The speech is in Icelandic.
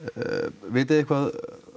vitið þið eitthvað